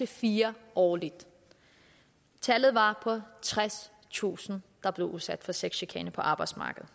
fire årligt tallet var på tredstusind der blev udsat for sexchikane på arbejdsmarkedet